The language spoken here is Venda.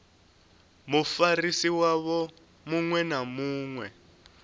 mufarisi wavho muṅwe na muṅwe